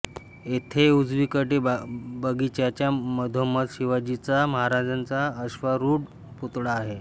येथे उजवीकडे बगीचाच्या मधोमध शिवाजीचा महाराजांचा अश्वारूढ पुतळा आहे